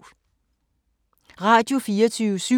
Radio24syv